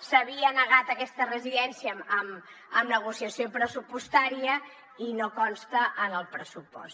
s’havia negat aquesta residència en negociació pressupostària i no consta en el pressupost